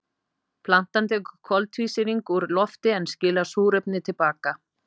Plantan tekur koltvísýring úr lofti en skilar súrefni til baka.